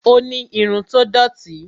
ó ni irun tó dòti